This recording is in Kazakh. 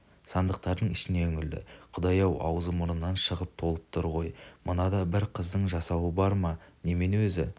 сандықтардың ішіне үңілді құдай-ау аузы-мұрнынан шығып толып тұр ғой мынада бір қыздың жасауы бар ма немене өзі